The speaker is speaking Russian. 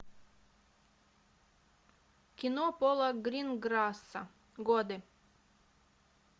кино пола гринграсса годы